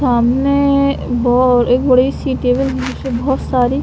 सामने वो एक बड़ी सी टेबल जिसमे बहोत सारी--